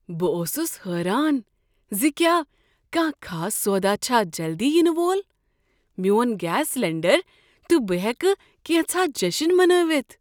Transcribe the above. بہٕ اوسُس حٲران زِ کیا کانٛہہ خاص سودا چھا جلدی ینہٕ وول۔ میٛون گیس سلنڈر تہٕ بہٕ ہیكہٕ كینژھاہ جشن منٲوتھ۔!